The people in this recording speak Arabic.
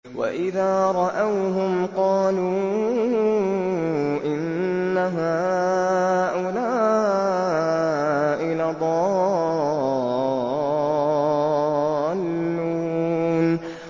وَإِذَا رَأَوْهُمْ قَالُوا إِنَّ هَٰؤُلَاءِ لَضَالُّونَ